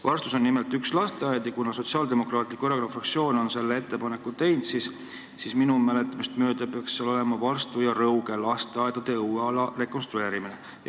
Varstus on nimelt üks lasteaed ja kuna Sotsiaaldemokraatliku Erakonna fraktsioon on selle ettepaneku teinud, siis minu mäletamist mööda peaks seal olema "Varstu ja Rõuge lasteaedade õueala rekonstrueerimine".